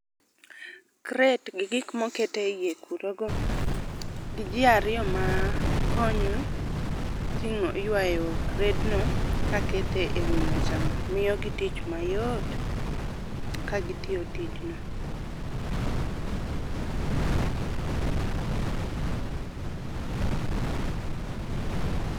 Crate gi gik moket eiye kuro go gi jii ariyo ma konyo ting'o ywayo kred no kakete wii mesa no miyo gi tich mayot ka gitiyo tijno.